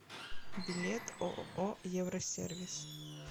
билет ооо евросервис